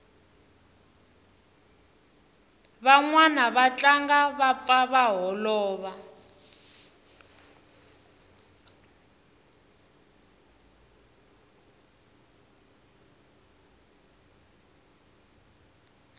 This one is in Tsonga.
vanwani va tlangi va pfa va holova